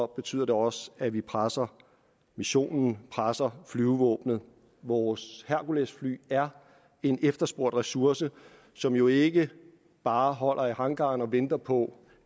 betyder det også at vi presser missionen presser flyvevåbnet vores herculesfly er en efterspurgt ressource som jo ikke bare holder i hangaren og venter på